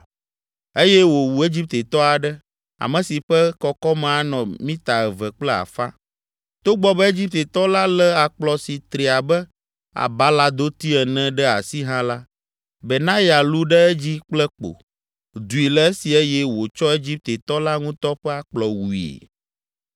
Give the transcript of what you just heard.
Eye wòwu Egiptetɔ aɖe, ame si ƒe kɔkɔme anɔ mita eve kple afã. Togbɔ be Egiptetɔ la lé akplɔ si tri abe abaladoti ene ɖe asi hã la, Benaya lũ ɖe edzi kple kpo, dui le esi eye wòtsɔ Egiptetɔ la ŋutɔ ƒe akplɔ wui.